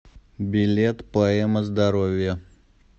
билет поэма здоровья